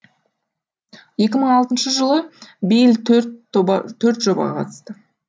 екі мың алтыншы жылы бейл төрт жобаға қатысты